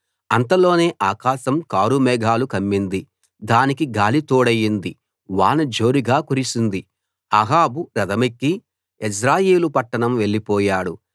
అంతలోనే ఆకాశం కారుమేఘాలు కమ్మింది దానికి గాలి తోడైంది వాన జోరుగా కురిసింది అహాబు రథమెక్కి యెజ్రెయేలు పట్టణం వెళ్లిపోయాడు